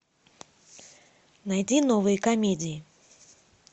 найди новые комедии